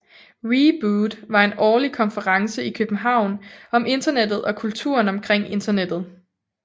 Reboot var en årlig konference i København om internettet og kulturen omkring Internettet